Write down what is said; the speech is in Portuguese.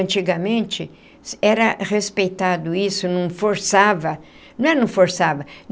Antigamente, era respeitado isso, não forçava não é não forçava.